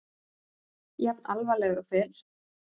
Jafn alvarlegur og fyrr.